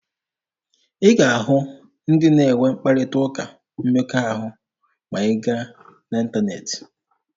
A ga-ahụ ndị na-enwe mkparịta ụka mmekọahụ ma a gaa n'ịntaneetị.